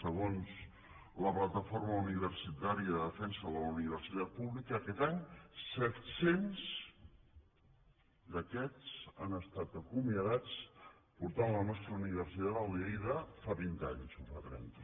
segons la plataforma universitària de defensa de la universitat pública aquest any set cents d’aquests han estat acomiadats i s’ha portat la nostra universitat al nivell de fa vint anys o fa trenta